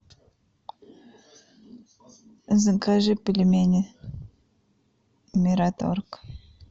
закажи пельмени мираторг